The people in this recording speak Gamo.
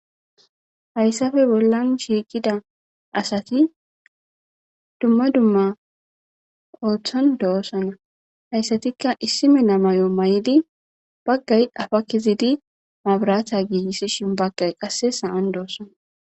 Hayssafe bollan shiiqida asati dumma dumma ooththan doossana hayssatikka issime namay7o may7idi baggay afa kizidi maburatha giigissishin baggay qasse saan doossana